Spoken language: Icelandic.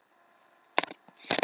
Talar aldrei um Lenu og slysið.